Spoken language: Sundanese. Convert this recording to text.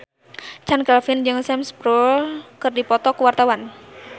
Chand Kelvin jeung Sam Spruell keur dipoto ku wartawan